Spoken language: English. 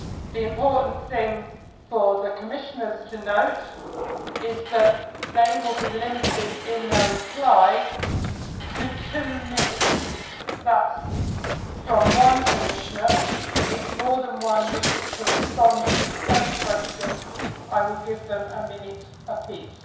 The important thing for the Commissioners to note is that they will be limited in their replies to two minutes that is two minutes for a reply from one Commissioner. If more than one Commissioner wishes to respond to the same question I will give them a minute